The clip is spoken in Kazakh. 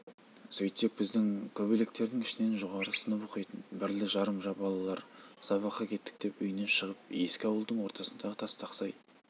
сөйтсек біздің көктөбеліктердің ішінен жоғары сынып оқитын бірлі-жарым балалар сабаққа кеттік деп үйінен шығып екі ауылдың ортасындағы тастақсай